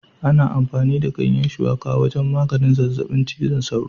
Ana amfani da ganyen Shuwaka wajen maganin zazzabin cizon sauro